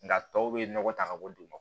Nka tɔw bɛ nɔgɔ ta ka bɔ duguma